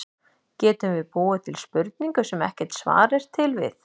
Getum við búið til spurningu, sem ekkert svar er til við?